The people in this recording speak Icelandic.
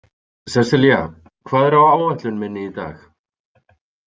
Seselía, hvað er á áætlun minni í dag?